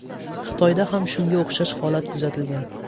Xitoyda ham shunga o‘xshash holat kuzatilgan.